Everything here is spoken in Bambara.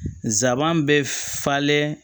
Nsaban bɛ falen